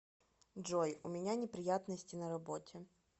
джой у меня неприятности на работе